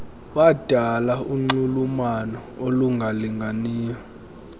wadala unxulumano olungalinganiyo